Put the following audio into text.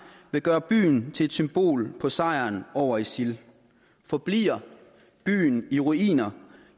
vil gøre byen til et symbol på sejren over isil forbliver byen i ruiner